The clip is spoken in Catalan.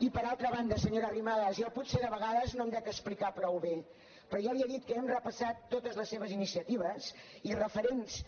i per altra banda senyora arrimadas jo potser de vegades no em dec explicar prou bé però jo li he dit que hem repassat totes les seves iniciatives i referents